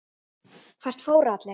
Hvert fóru allir?